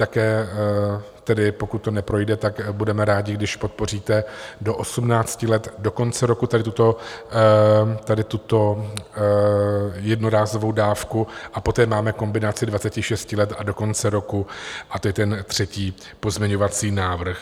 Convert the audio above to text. Také tedy, pokud to neprojde, tak budeme rádi, když podpoříte do 18 let do konce roku tady tuto jednorázovou dávku a poté máme kombinaci 26 let a do konce roku a to je ten třetí pozměňovací návrh.